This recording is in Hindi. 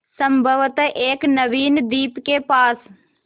संभवत एक नवीन द्वीप के पास